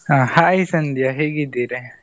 ಹಾ hai ಸಂದ್ಯಾ ಹೇಗಿದ್ದೀರಾ?